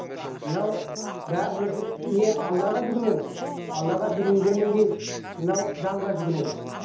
мынау бәріміз не аллаға жүгінеміз аллаға жүгінгеннен кейін мынау заңға жүгінеміз